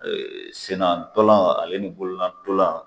sennan tolan ale ni bolola tolan.